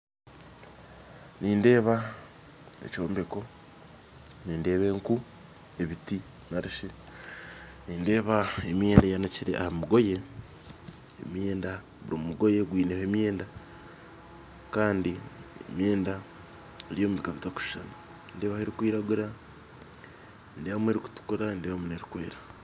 Nindeeba ekyombeko nindeeba enku ebiti nari shi nindeeba emyenda eyanikire aha migoye emyenda buri mugoye gwineho emyenda kandi emyenda eri omu bika bitarikushushana nindeebaho erikwiraguura, nindeebamu erikutukura nindeebamu n'erikwera